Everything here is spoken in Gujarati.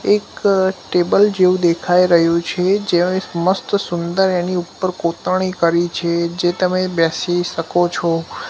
એક ટેબલ જેવુ દેખાય રહ્યુ છે જ્યાં એક મસ્ત સુંદર એની ઉપર કોતરણી કરી છે જે તમે બેસી સકો છો.